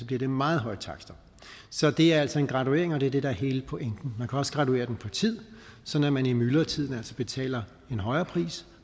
bliver det meget høje takster så det er altså en graduering og det er det der er hele pointen man kan også graduere den på tid sådan at man i myldretiden betaler en højere pris